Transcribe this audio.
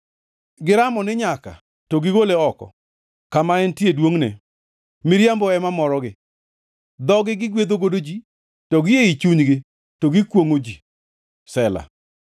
Giramo ni nyaka to gigole oko kama entie e duongʼne; miriambo ema morogi. Dhogi gigwedhogo ji, to gi ei chunygi to gikwongʼo ji. Sela